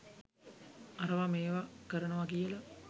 අරවා මේවා කරනවා කියලා